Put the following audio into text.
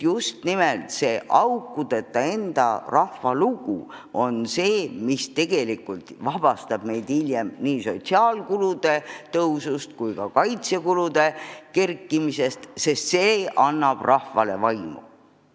Just nimelt see aukudeta enda rahva lugu on see, mis vabastab meid hiljem nii sotsiaalkulude kui ka kaitsekulude kasvust, sest see annab rahvale tugeva vaimu.